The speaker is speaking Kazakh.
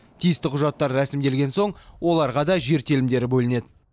тиісті құжаттар рәсімделген соң оларға да жер телімдері бөлінеді